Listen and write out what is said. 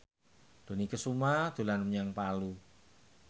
Dony Kesuma dolan menyang Palu